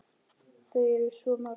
Þau eru svo mörg.